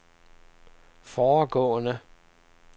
foregående